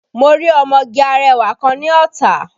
Mo rí ọmọge arẹwà kan ní Ọ̀tà